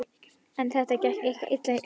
En þetta gekk eitthvað illa hjá